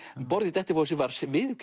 um borð í Dettifossi var